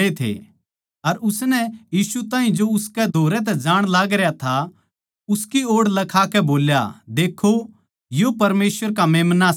अर उसनै यीशु ताहीं जो उसकै धोरै तै जाण लागरया था उसकी ओड़ लखाकै बोल्या देक्खो यो परमेसवर का मेम्‍ना सै